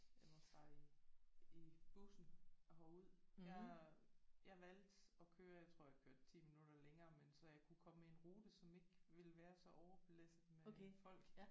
Jeg var også bare i i bussen herud der jeg valgte at køre jeg tror jeg kørte 10 minutter længere men så jeg kunne komme med en rute som ikke ville være så overbelastet med folk